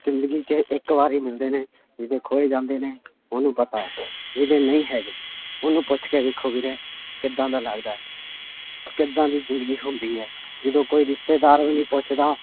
ਜ਼ਿੰਦਗੀ 'ਚ ਇੱਕ ਵਾਰ ਹੀ ਮਿਲਦੇ ਨੇ ਜਿਹਦੇ ਖੋਹੇ ਜਾਂਦੇ ਨੇ ਉਹਨੂੰ ਪਤਾ ਹੈ ਜਿਹਦੇ ਨਹੀਂ ਹੈਗੇ, ਉਹਨੂੰ ਪੁੱਛ ਕੇ ਵੇਖੋ ਵੀਰੇ ਕਿੱਦਾਂ ਦਾ ਲੱਗਦਾ ਹੈ ਕਿੱਦਾਂ ਦੀ ਜ਼ਿੰਦਗੀ ਹੁੰਦੀ ਹੈ ਜਦੋਂ ਕੋਈ ਰਿਸ਼ਤੇਦਾਰ ਵੀ ਨੀ ਪੁੱਛਦਾ